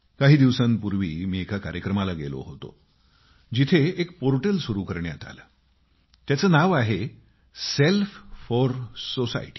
काही दिवसांपूर्वी मी एका कार्यक्रमाला गेलो होतो जिथे एक पोर्टल सुरु करण्यात आली आहे तिचे नाव आहे सेल्फ फोर सोसायटी